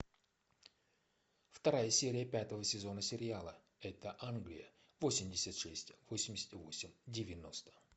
вторая серия пятого сезона сериала это англия восемьдесят шесть восемьдесят восемь девяносто